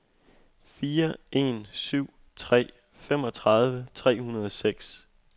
fire en syv tre femogtredive tre hundrede og seks